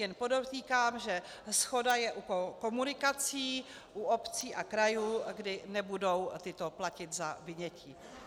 Jen podotýkám, že shoda je u komunikací, u obcí a krajů, kdy nebudou tyto platit za vynětí.